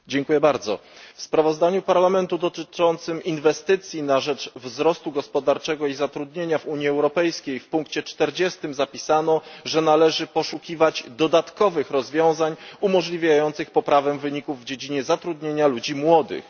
Pani Przewodnicząca! W sprawozdaniu Parlamentu dotyczącym inwestycji na rzecz wzrostu gospodarczego i zatrudnienia w Unii Europejskiej w punkcie czterdziestym zapisano, że należy poszukiwać dodatkowych rozwiązań umożliwiających poprawę wyników w dziedzinie zatrudnienia ludzi młodych.